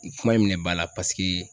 N kuma in minɛ ba la paseke